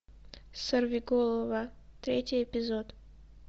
сорвиголова третий эпизод